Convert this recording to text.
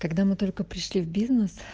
тогда мы только пришли в бизнес